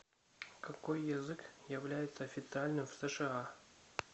какой язык является официальным в сша